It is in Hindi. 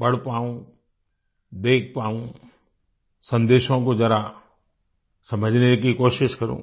पढ़ पाऊँ देख पाऊँ संदेशों को जरा समझने की कोशिश करूँ